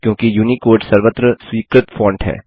क्योंकि यूनिकोड सर्वत्र स्वीकृत फॉन्ट है